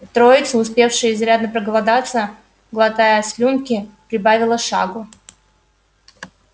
троица успевшая изрядно проголодаться глотая слюнки прибавила шагу